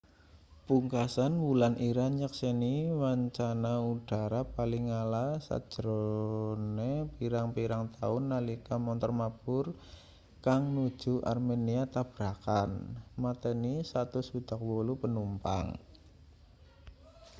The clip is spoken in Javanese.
pungkasan wulan iran nyekseni wancana udhara paling ala sajrone pirang-pirang taun nalika montor mabur kang nuju armenia tabrakan mateni 168 panumpang